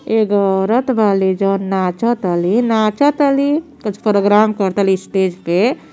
एगो औरत बाली जवन नाच तली नाच तली त प्रोग्राम कर ताली स्टेज पे।